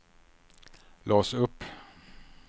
lås upp